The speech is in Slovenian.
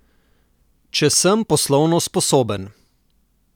Če sem poslovno sposoben?